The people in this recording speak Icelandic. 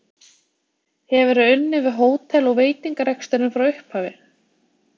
Hefur þú unnið við hótel- og veitingareksturinn frá upphafi?